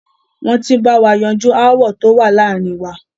Wọ́n ti ń bá wa yanjú aáwọ̀ tó wà láàárin wa.